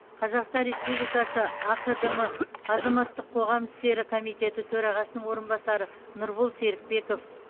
қазақстан республикасы ақдм азаматтық қоғам істері комитеті төрағасының орынбасары нұрбол серікбеков